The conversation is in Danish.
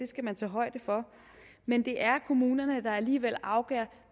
skal man tage højde for men det er kommunerne der alligevel afgør